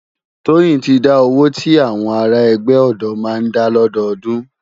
Toyin ti dá ówó ti áwòn àrá ègbè òdò má n dá lòdódùn